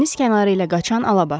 Dəniz kənarı ilə qaçan Alabaş.